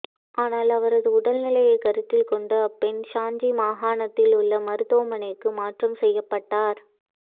ஆனால் அவரது உடல் நிலையை கருத்தில் கொண்டு அப்பெண் ஷான் ஜீ மாகாணத்தில் உள்ள மருத்துவமனைக்கு மாற்றம் செய்யப்பட்டார்